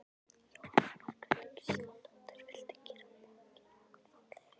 Jóhanna Margrét Gísladóttir: Viltu gera borgina okkar fallegri?